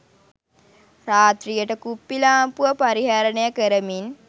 රාත්‍රියට කුප්පිලාම්පුව පරිහරණය කරමින්